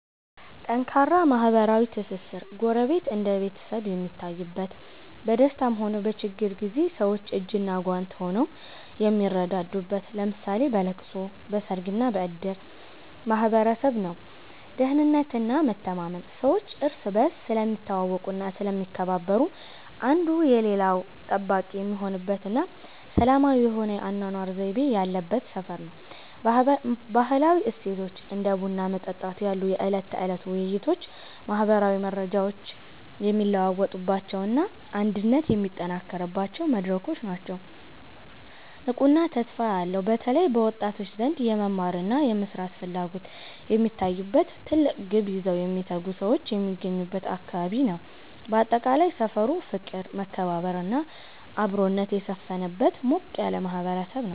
ጠንካራ ማህበራዊ ትስስር፦ ጎረቤት እንደ ቤተሰብ የሚታይበት፣ በደስታም ሆነ በችግር ጊዜ ሰዎች እጅና ጓንት ሆነው የሚረዳዱበት (ለምሳሌ በለቅሶ፣ በሰርግና በእድር) ማህበረሰብ ነው። ደህንነትና መተማመን፦ ሰዎች እርስ በርስ ስለሚተዋወቁና ስለሚከባበሩ፣ አንዱ የሌላው ጠባቂ የሚሆንበትና ሰላማዊ የሆነ የአኗኗር ዘይቤ ያለበት ሰፈር ነው። ባህላዊ እሴቶች፦ እንደ ቡና መጠጣት ያሉ የዕለት ተዕለት ውይይቶች ማህበራዊ መረጃዎች የሚለዋወጡባቸውና አንድነት የሚጠናከርባቸው መድረኮች ናቸው። ንቁና ተስፋ ያለው፦ በተለይ በወጣቶች ዘንድ የመማርና የመስራት ፍላጎት የሚታይበት፣ ትልቅ ግብ ይዘው የሚተጉ ሰዎች የሚገኙበት አካባቢ ነው። ባጠቃላይ፣ ሰፈሩ ፍቅር፣ መከባበርና አብሮነት የሰፈነበት ሞቅ ያለ ማህበረሰብ ነው።